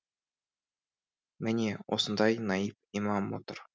міне осында наиб имам отыр